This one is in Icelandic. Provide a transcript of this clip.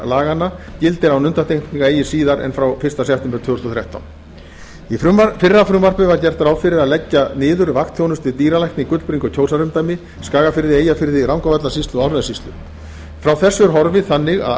laganna gildir án undantekninga eigi síðar en frá fyrsta september tvö þúsund og þrettán í fyrra frumvarpi var gert ráð fyrir að leggja niður vaktþjónustu dýralækna í gullbringu og kjósarumdæmi skagafirði eyjafirði rangárvallasýslu og árnessýslu frá þessu er horfið þannig að